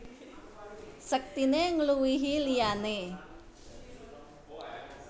Sektiné ngluwihi liyané